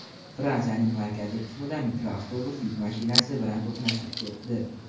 Fransiyaning markaziy qismida mikroavtobus yuk mashinasi bilan to‘qnashib ketdi.